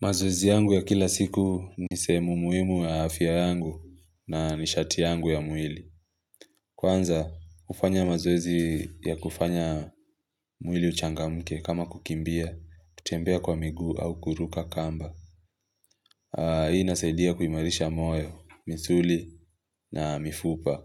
Mazoezi yangu ya kila siku ni sehemu muhimu ya afya yangu na nishati yangu ya mwili. Kwanza, hufanya mazoezi ya kufanya mwili uchangamke kama kukimbia, kutembea kwa miguu au kuruka kamba. Hii inasaidia kuimarisha moyo, misuli na mifupa